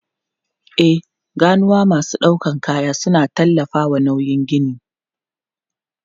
E, ganuwa masu ɗaukar kaya suna tallafawa nauyin gini.